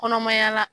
Kɔnɔmaya la